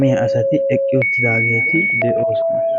maccasati eqqidaageeti de'oososna.